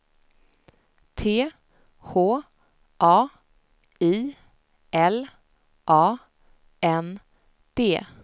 T H A I L A N D